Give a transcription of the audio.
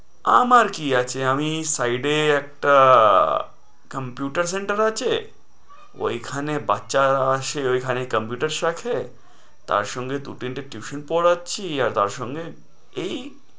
আমার কি আছে? আমি side এ একটা computer center আছে, ঐখানে বাচ্চারা আছে, ঐখানে computers রাখে। তারসঙ্গে দু-তিনটে tuition পড়াচ্ছি আর তার সঙ্গে এই